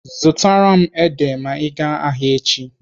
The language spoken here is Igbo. Zụtara m ede ma ị gaa ahịa echi.